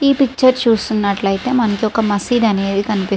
ఈ picture picture చూస్తున్నట్లు అయితే మనకి మాజిద్ కనిపిస్ --